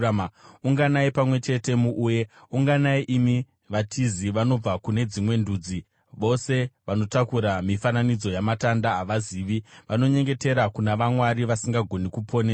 “Unganai pamwe chete muuye; unganai, imi vatizi vanobva kune dzimwe ndudzi. Vose vanotakura mifananidzo yamatanda havazivi, vanonyengetera kuna vamwari vasingagoni kuponesa.